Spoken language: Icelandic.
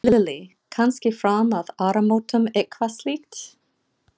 Lillý: Kannski fram að áramótum eitthvað slíkt?